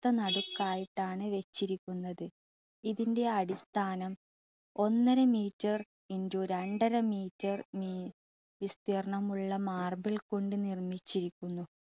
ഒത്ത നടുക്കായിട്ടാണ് വച്ചിരിക്കുന്നത്. ഇതിൻ്റെ അടിസ്ഥാനം ഒന്നര meter ഗുണനം രണ്ടര meter വിസ്‌തീർണമുള്ള marble കൊണ്ട് നിർമിച്ചിരിക്കുന്നു.